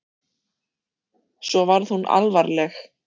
Svo varð hún alvarleg.